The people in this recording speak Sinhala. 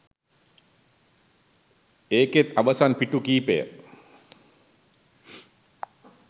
ඒකෙත් අවසන් පිටු කීපය